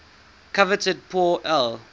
coveted pour le